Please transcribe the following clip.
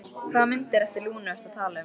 Hvaða myndir eftir Lúnu ertu að tala um?